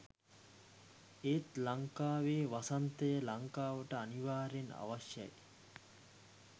ඒත් ලංකාවේ වසන්තය ලංකාවට අනිවාර්යයෙන් අවශ්‍යයි.